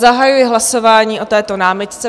Zahajuji hlasování o této námitce.